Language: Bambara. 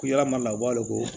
Ko yalama u b'a wele ko